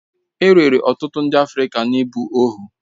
E rere ọtụtụ ndị Afrịka n'ịbụ ohu.